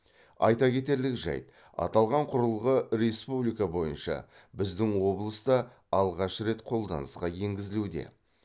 айта кетерлік жайт аталған құрылғы республика бойынша біздің облыста алғаш рет қолданысқа енгізілуде